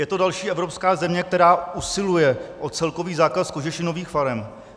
Je to další evropská země, která usiluje o celkový zákaz kožešinových farem.